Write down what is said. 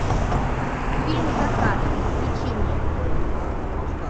фильм закат включи мне